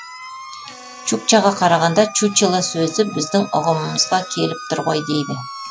чукчаға қарағанда чучело сөзі біздің ұғымымызға келіп тұр ғой дейді